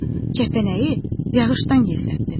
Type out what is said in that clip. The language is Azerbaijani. Kəpənəyi yağışdan gizlətdim.